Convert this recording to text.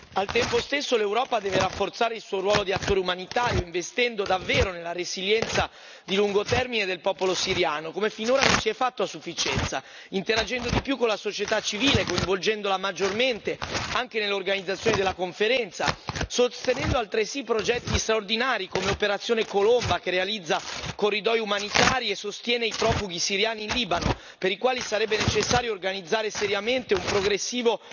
Al tempo stesso l'Europa deve rafforzare il suo ruolo di attore umanitario investendo davvero nella resilienza di lungo termine del popolo siriano, come finora non si è fatto a sufficienza, interagendo di più con la società civile, coinvolgendola maggiormente anche nell'organizzazione della conferenza, sostenendo altresì progetti straordinari come Operazione Colomba, che realizza corridoi umanitari e sostiene i profughi siriani in Libano, per i quali sarebbe necessario organizzare seriamente un progressivo